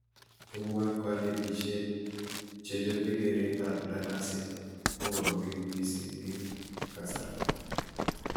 Tugukab konetishet che chobe keretab daraset kokoromit mising eng kasarta